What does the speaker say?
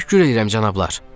Təşəkkür edirəm cənablar.